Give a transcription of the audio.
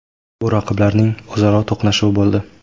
Bu raqiblarning o‘zaro birinchi to‘qnashuvi bo‘ldi.